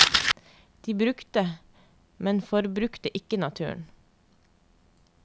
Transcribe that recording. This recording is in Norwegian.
De brukte, men forbrukte ikke naturen.